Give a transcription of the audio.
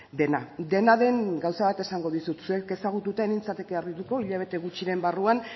dena dena den gauza bat esango dizut zuek ezagututa ez nintzateke harrituko hilabete gutxiren barruan